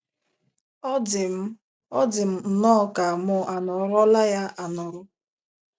Ọ dị m Ọ dị m nnọọ ka mụ anọrọla na ya anọrọ. ”